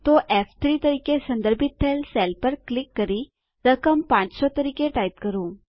તો ફ3 તરીકે સંદર્ભિત થયેલ સેલ પર ક્લિક કરી રકમ 500 તરીકે ટાઇપ કરો